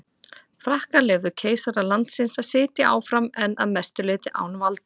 Frakkar leyfðu keisara landsins að sitja áfram en að mestu leyti án valda.